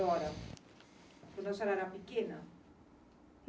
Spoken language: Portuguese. Quando a senhora era pequena?